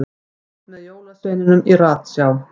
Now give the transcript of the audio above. Fylgst með jólasveininum í ratsjá